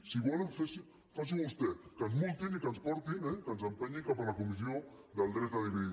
si volen faci·ho vostè que ens multin i que ens portin eh que ens empenyi cap a la comis·sió del dret a dividir